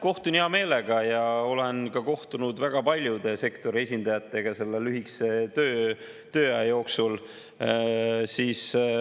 Kohtun hea meelega ja olen ka kohtunud väga paljude sektori esindajatega selle lühikese tööaja jooksul.